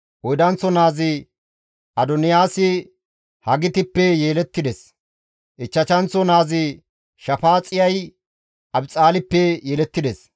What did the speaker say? Oydanththo naazi Adoniyaasi Hagitippe yelettides; ichchashanththo naazi Shafaaxiyay Abixaalippe yelettides;